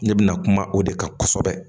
Ne bɛna kuma o de kan kosɛbɛ